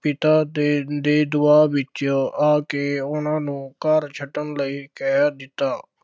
ਪਿਤਾ ਦੇ ਦੇ ਦਬਾਅ ਵਿੱਚ ਆ ਕੇ ਉਹਨਾ ਨੂੰ ਘਰ ਛੱਡਣ ਲਈ ਕਹਿ ਦਿੱਤਾ,